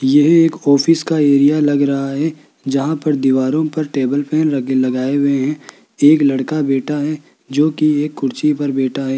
यह एक ऑफिस का एरिया लग रहा है जहां पर दीवारों पर टेबल फैन लग लगे लगाए हुए हैं एक लड़का बैठा है जो की एक कुर्सी पर बैठा है।